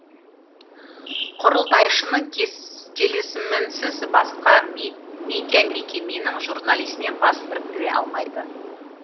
құрылтайшының келісімінсіз басқа медиамекеменің журналисімен бас біріктіре алмайды